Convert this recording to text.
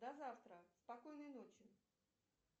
до завтра спокойной ночи